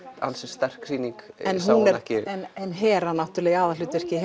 ansi sterk sýning en hún er ekki en Hera í aðalhlutverki